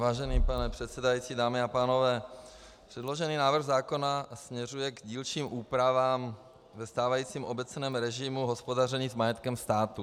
Vážený pane předsedající, dámy a pánové, předložený návrh zákona směřuje k dílčím úpravám ve stávajícím obecném režimu hospodaření s majetkem státu.